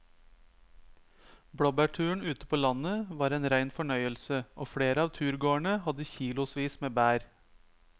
Blåbærturen ute på landet var en rein fornøyelse og flere av turgåerene hadde kilosvis med bær.